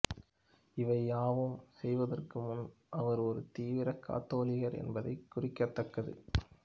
இவை யாவும் செயவதர்கு முன்பு அவர் ஒரு தீவிர காத்தோலிகர் என்பது குறிக்கத்தக்கது